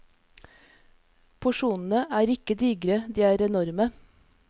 Porsjonene er ikke digre, de er enorme.